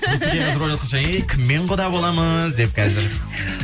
русеке қазір ойлаватқан шығар е кіммен құда болмыз деп қазір